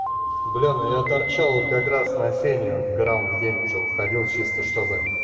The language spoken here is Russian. бля ну я торчал вот как раз на сене грамм в день уже выходил чисто чтобы